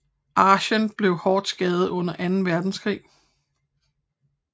Aachen blev hårdt skadet under Anden Verdenskrig